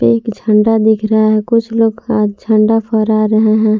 एक झंडा दिख रहा है कुछ लोग का झंडा फहरा रहे हैं।